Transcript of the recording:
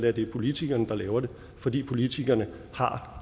er det politikerne laver fordi politikerne har